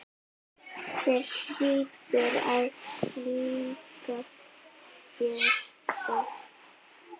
Þér hlýtur að líka þetta?